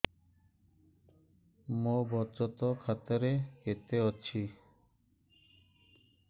ମୋ ବଚତ ଖାତା ରେ କେତେ ଅଛି